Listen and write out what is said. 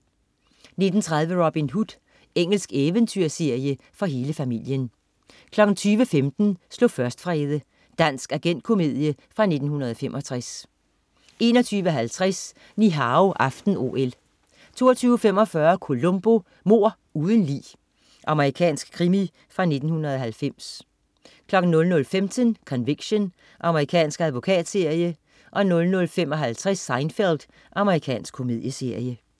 19.30 Robin Hood. Engelsk eventyrserie for hele familien 20.15 Slå først, Frede. Dansk agentkomedie fra 1965 21.50 Ni Hao aften-OL 22.45 Columbo: Mord uden lig. Amerikansk krimi fra 1990 00.15 Conviction. Amerikansk advokatserie 00.55 Seinfeld. Amerikansk komedieserie